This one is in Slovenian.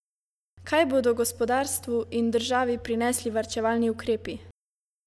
Kaj bodo gospodarstvu in državi prinesli varčevalni ukrepi?